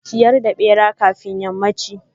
ciyar da bera kafin yammanchi.